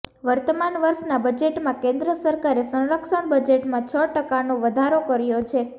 વર્તમાન વર્ષના બજેટમાં કેન્દ્ર સરકારે સંરક્ષણ બજેટમાં છ ટકાનો વધારો કર્યો છે